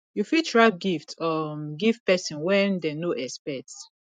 you fit wrap gift um give person wen dem no expect